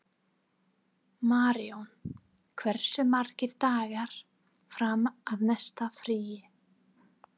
Maríon, hversu margir dagar fram að næsta fríi?